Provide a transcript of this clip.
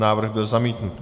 Návrh byl zamítnut.